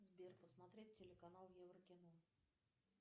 сбер посмотреть телеканал еврокино